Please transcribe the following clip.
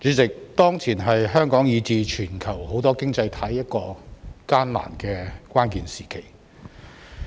主席，當前是香港以至全球許多經濟體一個艱難的關鍵時期。